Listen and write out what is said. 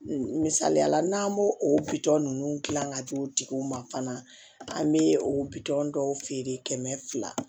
Misaliyala n'an b'o o bitɔn ninnu dilan ka di u tigiw ma fana an bɛ bitɔn dɔw feere kɛmɛ fila